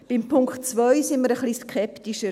Bei Punkt 2 sind wir etwas skeptischer.